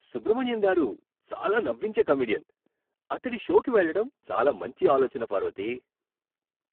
సుబ్రమణియన్ గారు చాలా నవ్వించే కమెడియన్. అతడి షోకి వెళ్లడం చాలా మంచి ఆలోచన, పార్వతీ.